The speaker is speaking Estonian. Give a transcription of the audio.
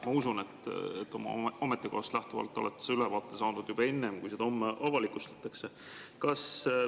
Ma usun, et oma ametikohast lähtuvalt olete ülevaate saanud juba enne, kui see homme avalikustatakse.